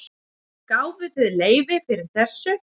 Gáfuð þið leyfi fyrir þessu?